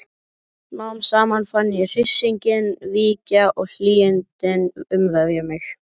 Smám saman fann ég hryssinginn víkja og hlýindin umvefja mig.